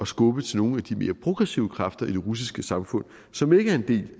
skubbe til nogle af de mere progressive kræfter i det russiske samfund som ikke er en del